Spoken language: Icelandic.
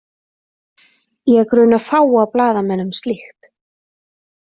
Ég gruna fáa blaðamenn um slíkt .